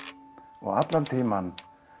og allan tímann